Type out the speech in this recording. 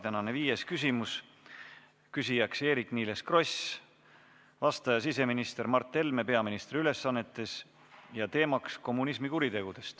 Tänane viies küsimus: küsija on Eerik-Niiles Kross, vastaja siseminister Mart Helme peaministri ülesannetes, teemaks on kommunismi kuriteod.